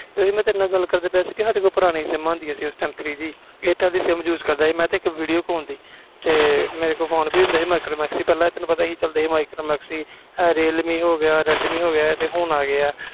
ਮੈਂ ਗੱਲ ਕਰਦਾ ਪਿਆ ਸੀ ਸਾਡੇ ਤੋਂ ਪੁਰਾਣੀਆਂ sim ਹੁੰਦੀਆਂ three G ਸੀ ਸਾਡੇ ਕੋਲ airtel sim use ਦੀ ਕਰਦਾ ਸੀ ਤੇ ਇਕ videocon ਦੀ ਤੇ ਮੇਰੇ ਤੋਂ ਫੋਨ ਵੀ ਹੁੰਦਾ ਸੀ micromax ਪਹਿਲੇ ਤੈਨੂੰ ਪਤਾ ਸੀ micromax ਚਲਦੇ ਸੀ realme ਹੋ ਗਿਆ redme ਹੋ ਗਿਆ